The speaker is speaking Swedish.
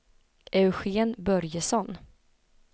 Eugen Börjesson